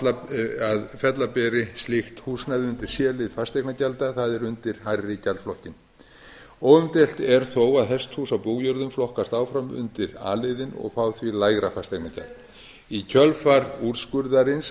að fella beri slíkt húsnæði undir c lið fasteignagjalda það er undir hærri gjaldflokkinn óumdeilt er þó að hesthús á bújörðum flokkast áfram undir a liðinn og fá því lægra fasteignagjald í kjölfar úrskurðarins